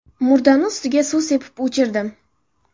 Murdani ustiga suv sepib o‘chirdim.